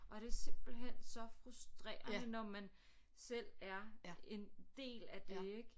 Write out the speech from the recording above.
Og det er simpelthen så frustrerende når man selv er en del af det ik